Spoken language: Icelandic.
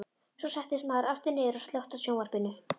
Svo settist maðurinn aftur niður og slökkti á sjónvarpinu.